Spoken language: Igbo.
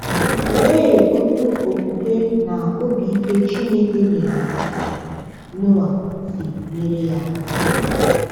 Olee otú okwukwe na obi ike Chineke nyere Noa si nyere ya aka?